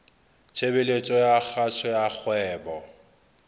tshebeletso ya kgaso ya kgwebo